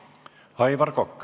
Aivar Kokk.